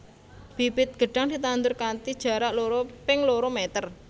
Bibit gedhang ditandur kanthi jarak loro ping loro meter